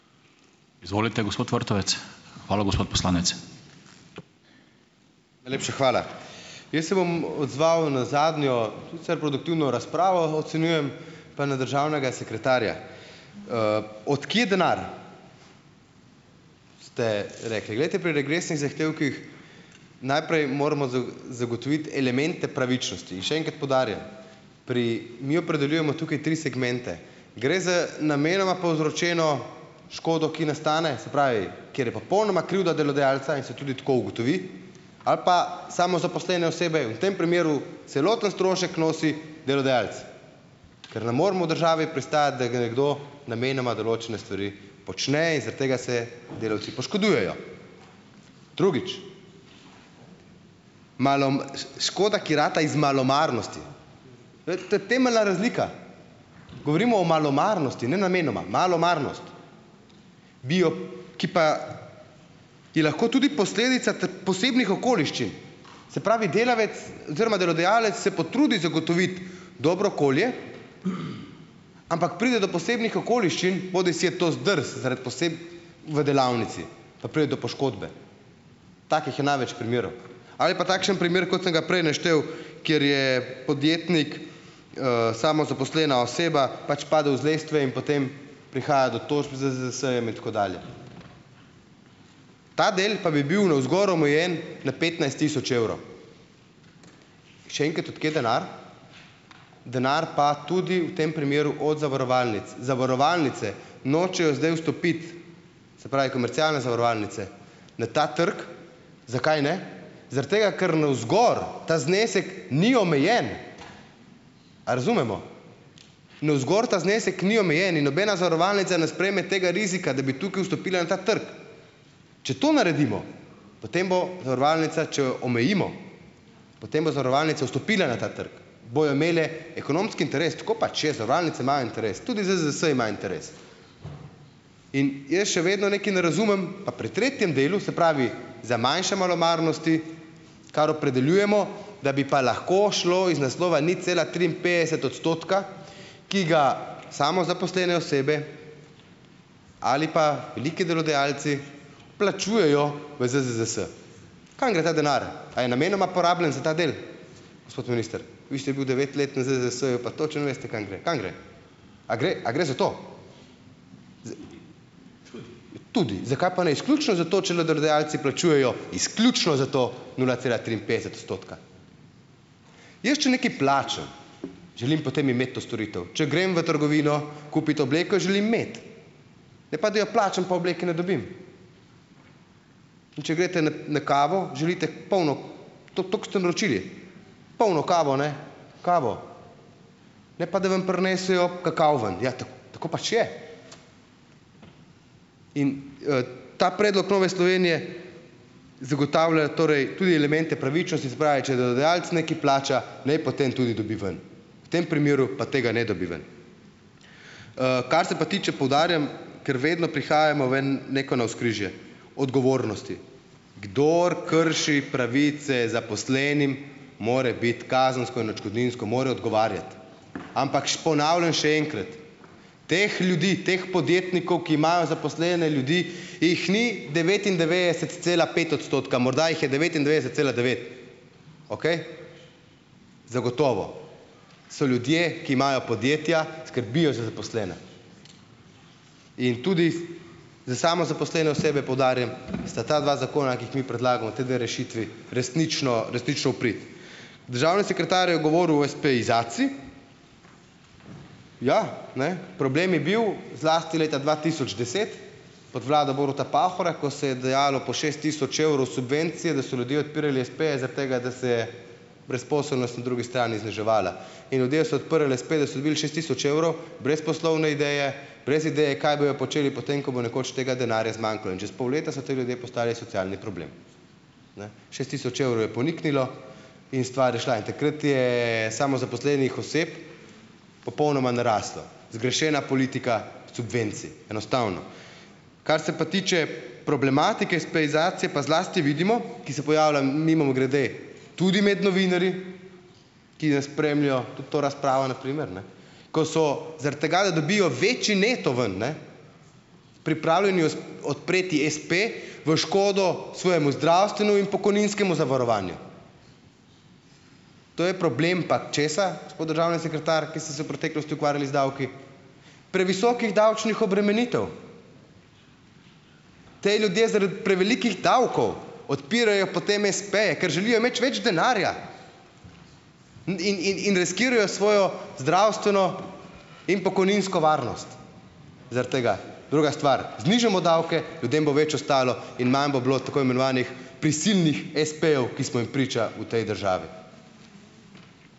Najlepša hvala. Jaz se bom odzval na zadnjo, produktivno razpravo, ocenjujem pa na državnega sekretarja. Od kje denar, ste rekli. Glejte, pri regresnih zahtevkih najprej moramo zagotoviti elemente pravičnosti in še enkrat poudarjam, pri mi opredeljujemo tukaj tri segmente. Gre za namenoma povzročeno škodo, ki nastane, se pravi, kjer je popolnoma krivda delodajalca, in se tudi tako ugotovi, ali pa samozaposlene osebe, v tem primeru celoten strošek nosi delodajalec, ker ne moremo v državi pristajati, da gre kdo namenoma določene stvari počne in zaradi tega se delavci poškodujejo. Drugič. ... Škoda, ki rata iz malomarnosti. To je to je temeljna razlika. Govorimo o malomarnosti, ne namenoma. Malomarnost, bi jo, ki pa je lahko tudi posledica posebnih okoliščin. Se pravi, delavec oziroma delodajalec se potrudi zagotoviti dobro okolje, ampak pride do posebnih okoliščin, bodisi je to zdrs zaradi v delavnici, pa pride do poškodbe. Takih je največ primerov. Ali pa takšen primer, kot sem ga prej naštel, kjer je podjetnik, samozaposlena oseba, pač padel iz lestve in potem prihaja do tožb z ZZZS-jem in tako dalje. Ta del pa bi bil navzgor omejen na petnajst tisoč evrov. Še enkrat, od kje denar? Denar pa tudi v tem primeru od zavarovalnic. Zavarovalnice nočejo zdaj vstopiti, se pravi, komercialne zavarovalnice na ta trg. Zakaj ne? Zaradi tega, ker navzgor ta znesek ni omejen. A razumemo? Navzgor ta znesek ni omejen in nobena zavarovalnica ne sprejme tega rizika, da bi tukaj vstopila na ta trg. Če to naredimo, potem bo zavarovalnica, če omejimo, potem bo zavarovalnica vstopila na ta trg. Bojo imele ekonomski interes. Tako pač je, zavarovalnice imajo interes. Tudi ZZZS ima interes. In jaz še vedno nekaj ne razumem, pa pri tretjem delu, se pravi, za manjše malomarnosti, kar opredeljujemo, da bi pa lahko šlo iz naslova nič cela triinpetdeset odstotka, ki ga samozaposlene osebe ali pa veliki delodajalci plačujejo v ZZZS. Kam gre ta denar? Ali je namenoma porabljen za ta del, gospod minister? Vi ste bil devet let na ZZZS-u pa točno veste, kam gre, kam gre? A gre a gre za to? Tudi. Zakaj pa ne izključno za to, če le delodajalci plačujejo izključno za to nula cela triinpetdeset odstotka? Jaz, če nekaj plačam, želim potem imeti to storitev. Če grem v trgovino kupit obleko, jo želim imeti, ne pa da jo plačam, pa obleke ne dobim. In če greste na na kavo, želite polno to, to, ko ste naročili. Polno kavo, ne kavo, ne pa da vam prinesejo kakav ven. Ja, tako pač je. In, ta predlog Nove Slovenije zagotavlja torej tudi elemente pravičnosti, se pravi, če delodajalec nekaj plača, naj potem tudi dobi ven. V tem primeru, pa tega ne dobi ven. Kar se pa tiče, poudarjam, ker vedno prihajamo v eno, neko navzkrižje odgovornosti. Kdor krši pravice zaposlenim, mora biti kazensko in odškodninsko, mora odgovarjati. Ampak ponavljam še enkrat. Teh ljudi, teh podjetnikov, ki imajo zaposlene ljudi, jih ni devetindevetdeset cela pet odstotka, morda jih je devetindevetdeset celih devet. Okej? Zagotovo. So ljudje, ki imajo podjetja, skrbijo za zaposlene. In tudi za samozaposlene osebe, poudarjam, sta ta dva zakona, ki ju mi predlagamo, ti dve rešitvi resnično resnično v prid. Državni sekretar je govoril o espeizaciji. Ja, ne, problem je bil, zlasti leta dva tisoč deset pod vlado Boruta Pahorja, ko se je dajalo po šest tisoč evrov subvencije, da so ljudje odpirali espeje, zaradi tega, da se je brezposelnost na drugi strani zniževala. In ljudje so odprli espe, da so dobili šest tisoč evrov, brez poslovne ideje, brez ideje, kaj bodo počeli potem, ko bo nekoč tega denarja zmanjkalo. In čez pol leta so ti ljudje postali socialni problem. Ne, šest tisoč evrov je poniknilo in stvar je šla. In takrat je samozaposlenih oseb popolnoma naraslo. Zgrešena politika subvencij, enostavno. Kar se pa tiče problematike espeizacije pa zlasti vidimo, ki se pojavlja mimogrede tudi med novinarji, ki nas spremljajo, tudi to razpravo na primer, ne, ko so zaradi tega, da dobijo večji neto ven, ne, pripravljeni odpreti espe v škodo svojemu zdravstvenemu in pokojninskemu zavarovanju. To je problem pa česa, gospod državni sekretar, ki ste se v preteklosti ukvarjali z davki? Previsokih davčnih obremenitev. Ti ljudje zaradi prevelikih davkov odpirajo potem espeje, ker želijo imeti več denarja. In in in riskirajo svojo zdravstveno in pokojninsko varnost zaradi tega. Druga stvar. Znižamo davke, ljudem bo več ostalo in manj bo bilo tako imenovanih prisilnih espejev, ki smo jim priča v tej državi.